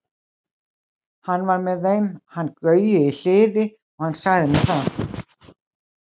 Hann var með þeim hann Gaui í Hliði og hann sagði mér það.